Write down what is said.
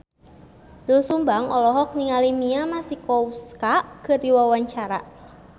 Doel Sumbang olohok ningali Mia Masikowska keur diwawancara